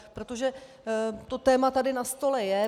Protože to téma tady na stole je.